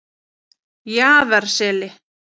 Jaðarseli